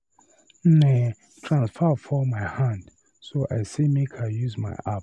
Nne, transfer fall my hand, so I say make I use my app.